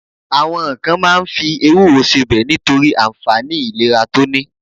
Àwọn kan ma ń fi ewúro sebẹ̀ nítorí ànfàní ìlera tó ní.